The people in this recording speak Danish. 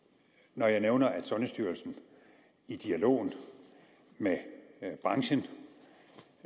når jeg nævner at sundhedsstyrelsen i dialogen med branchen